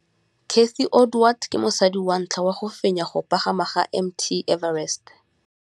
Cathy Odowd ke mosadi wa ntlha wa go fenya go pagama ga Mt Everest.